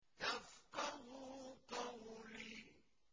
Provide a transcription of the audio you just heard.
يَفْقَهُوا قَوْلِي